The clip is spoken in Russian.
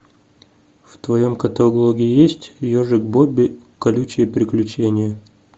в твоем каталоге есть ежик бобби колючее приключение